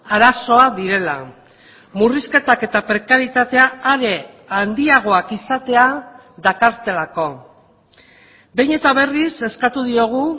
arazoa direla murrizketak eta prekaritatea are handiagoak izatea dakartelako behin eta berriz eskatu diogu